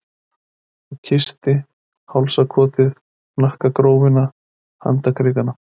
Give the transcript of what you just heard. Og kyssti hálsakotið, hnakkagrófina, handarkrikana.